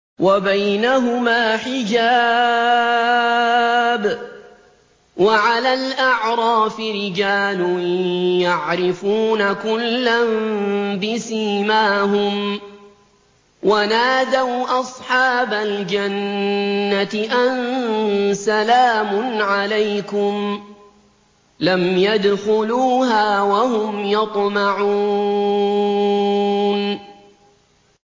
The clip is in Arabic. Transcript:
وَبَيْنَهُمَا حِجَابٌ ۚ وَعَلَى الْأَعْرَافِ رِجَالٌ يَعْرِفُونَ كُلًّا بِسِيمَاهُمْ ۚ وَنَادَوْا أَصْحَابَ الْجَنَّةِ أَن سَلَامٌ عَلَيْكُمْ ۚ لَمْ يَدْخُلُوهَا وَهُمْ يَطْمَعُونَ